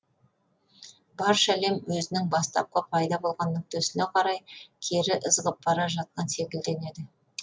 барша әлем өзінің бастапқы пайда болған нүктесіне қарай кері ызғып бара жатқан секілденеді